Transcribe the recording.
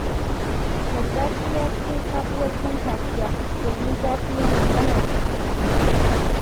Garbati ya siyo sabuwar fanka jiya, domin zafi yana hana shi barci